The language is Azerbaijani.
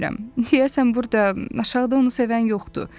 Deyəsən burda, aşağıda onu sevən yoxdur.